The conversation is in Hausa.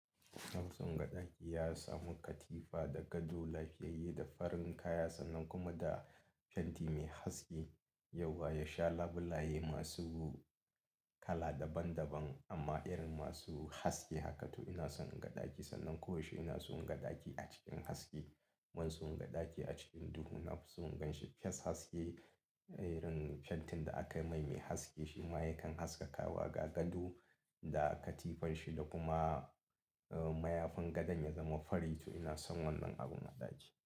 Ina son gadaki, ya samu katifa da gado, lafiyayye da farin kaya sannan kuma da fenti mai haske. Yauwa ya sha labulaye masu kala daban daban amma irin masu haske haka to ina son gadaki. Sannan ko yaushe ina son gadaki a cikin haske. Ban son gadaki a cikin duhu. Nafi son inganshe fes haske. Irin fentin da aka maimai haske shi ma ya kan haskaka wa ga gado da katifarshi da kuma mayafin gadan ya zama fari. To ina son wannan abun a ɗaki.